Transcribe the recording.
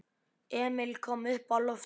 Emil kom uppá loftið.